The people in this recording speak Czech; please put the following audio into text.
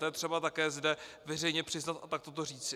To je třeba také zde veřejně přiznat a takto to říci.